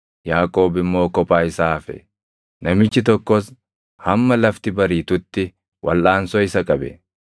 Yaaqoob immoo kophaa isaa hafe; namichi tokkos hamma lafti bariitutti walʼaansoo isa qabe.